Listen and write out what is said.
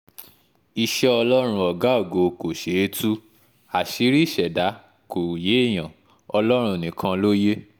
iṣẹ́ ọlọ́run um ọ̀gá ògo kò ṣeé tú àṣírí ìṣẹ̀dá kó yéèyàn ọlọ́run nìkan ló yẹ um